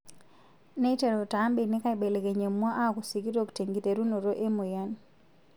Neiteru taa mbenek aaibelekeny emwua aaku sikitok tenkiterunoto emoyian.